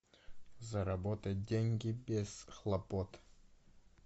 заработать деньги без хлопот